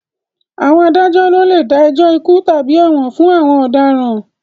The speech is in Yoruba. Àwọn adájọ́ ló lè dá ẹjọ́ ikú tàbí ẹ̀wọ̀n fún àwọn ọ̀daràn